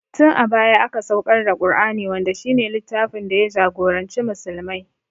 Tin a baya aka saukar da Ƙur'ani wanda shi ne littfin da ya jagoranci musulmai